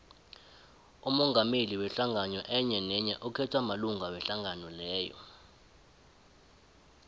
umongameli wehlangano enyenenye ukhethwa malunga wehlangano leyo